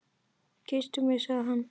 Kysstu mig sagði hann.